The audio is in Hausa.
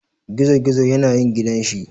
Gizogizo yane yin gidan shi.